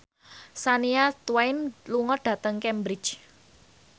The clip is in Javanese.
Shania Twain lunga dhateng Cambridge